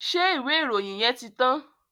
Ṣé ìwé ìròyìn yẹn ti tán?